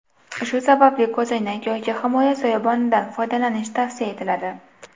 Shu sababli ko‘zoynak yoki himoya soyabonidan foydalanish tavsiya etiladi.